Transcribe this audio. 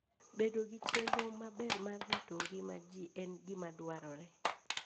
Bedo gi chenro maber mar rito ngima ji en gima dwarore.